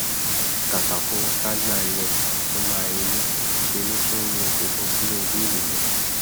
kàkà kó kágbá ńlẹ kó máa relé ńṣẹ ló tún rọ funfun sílẹ bí èlùbọ